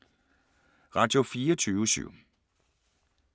Radio24syv